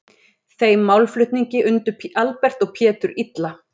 Þeim málflutningi undu Albert og Pétur illa.